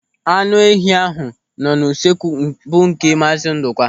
Anụ ehi ahụ nọ usuekwu bụ nke Maazi Ndụka.